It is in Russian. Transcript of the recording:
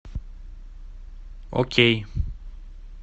окей